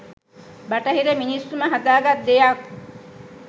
‘බටහිර’ මිනිස්සුම හදා ගත් දෙයක්..